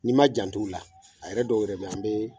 N'i ma jant'ola, a yɛrɛ dɔw yɛrɛ bɛ yen, an bɛ